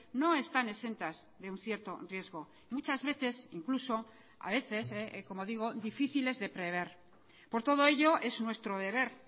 no están exentas de un cierto riesgo muchas veces incluso a veces como digo difíciles de prever por todo ello es nuestro deber